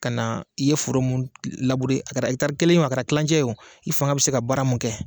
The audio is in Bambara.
Ka na i ye foro mun labure a kɛra tari kelen ye a ka kɛra kilancɛ o i fanga bɛ se ka baara mun kɛ